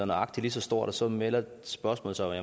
nøjagtig lige så stort og så melder spørgsmålet sig